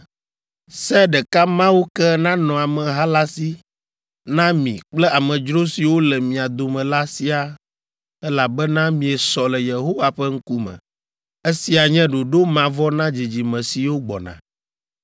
Se ɖeka mawo ke nanɔ ameha la si na mi kple amedzro siwo le mia dome la siaa elabena miesɔ le Yehowa ƒe ŋkume. Esia nye ɖoɖo mavɔ na dzidzime siwo gbɔna.